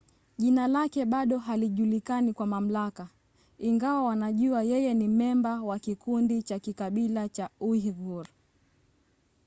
jina lake bado halijulikani kwa mamlaka ingawa wanajua yeye ni memba wa kikundi cha kikabila cha uighur